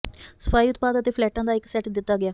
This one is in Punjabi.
ਸਫਾਈ ਉਤਪਾਦ ਅਤੇ ਫਲੈਟ ਦਾ ਇੱਕ ਸੈੱਟ ਦਿੱਤਾ ਗਿਆ